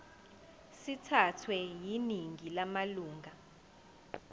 sithathwe yiningi lamalunga